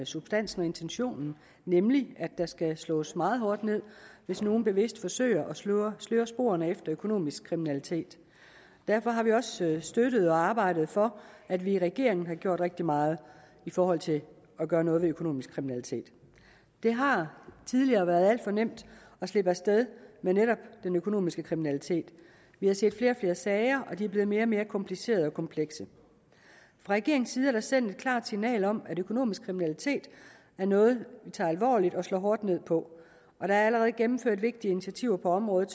substansen og intentionen nemlig at der skal slås meget hårdt ned hvis nogen bevidst forsøger at sløre sløre sporene efter økonomisk kriminalitet derfor har vi også støttet og arbejdet for at vi i regeringen har gjort rigtig meget i forhold til at gøre noget ved økonomisk kriminalitet det har tidligere været alt for nemt at slippe af sted med netop økonomisk kriminalitet vi har set flere og flere sager og de er blevet mere og mere komplicerede og komplekse fra regeringens side er der sendt et klart signal om at økonomisk kriminalitet er noget vi tager alvorligt og slår hårdt ned på der er allerede gennemført vigtige initiativer på området